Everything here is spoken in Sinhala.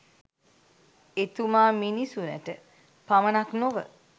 එතුමා මිනිසුනට පමණක් නොව